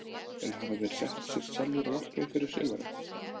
En hafa þeir sett sér sjálfir markmið fyrir sumarið?